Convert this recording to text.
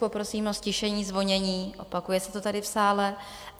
Poprosím o ztišení zvonění, opakuje se to tady v sále.